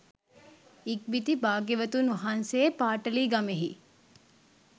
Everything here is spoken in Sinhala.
ඉක්බිති භාග්‍යවතුන් වහන්සේ පාටලීගමෙහි